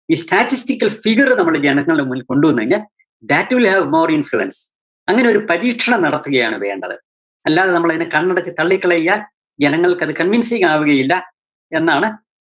ഈ statistical figure നമ്മള് ജനങ്ങളുടെ മുന്നില് കൊണ്ടുവന്ന് കഴിഞ്ഞാല്‍ that will have more influence അങ്ങനെയൊരു പരീക്ഷണം നടത്തുകയാണ് വേണ്ടത്. അല്ലാതെ നമ്മളതിനെ കണ്ണടച്ച് തള്ളികളയുക ജനങ്ങള്‍ക്കത് convincing ആവുകയില്ല എന്നാണ്